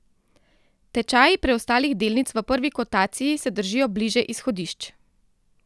Tečaji preostalih delnic v prvi kotaciji se držijo bliže izhodišč.